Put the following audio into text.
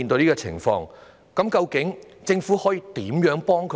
究竟政府可以如何幫他們？